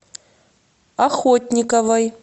охотниковой